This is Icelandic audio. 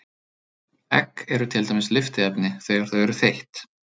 Egg eru til dæmis lyftiefni þegar þau eru þeytt.